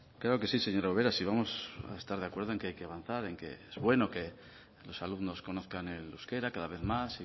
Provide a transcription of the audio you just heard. creo que sí señora ubera si vamos a estar de acuerdo en que hay que avanzar en que es bueno que los alumnos conozcan el euskera cada vez más